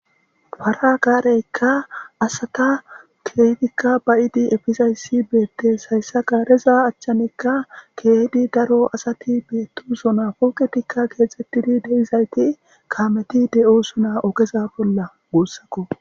fara kaareykka asata keeygikka bayidi efisayssi beettes hayssa kaareza achchanekka keeydi daro asati beettu sona pooketikka geexxxettidi deizayti kaameti de7osona ogeza bolla guussakko